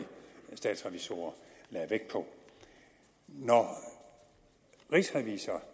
statsrevisorer lagde vægt på når rigsrevisor